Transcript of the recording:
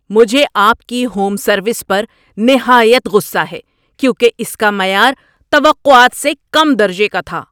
مجھے آپ کی ہوم سروس پر نہایت غصہ ہے کیونکہ اس کا معیار توقعات سے کم درجے کا تھا۔